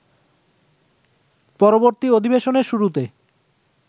পরবর্তী অধিবেশনের শুরুতে